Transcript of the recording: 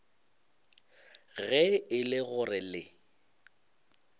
ge e le gore le